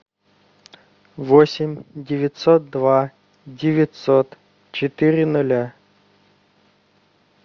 восемь девятьсот два девятьсот четыре нуля